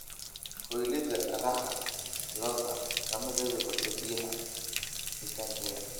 Kaylidha raxaa lo'odha kamarebikarto biyaa cabitangedha.